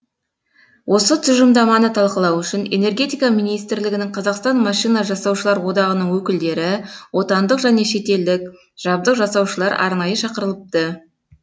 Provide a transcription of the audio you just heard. осы тұжырымдаманы талқылау үшін энергетика министрлігінің қазақстан машина жасаушылар одағының өкілдері отандық және шетелдік жабдық жасаушылар арнайы шақырылыпты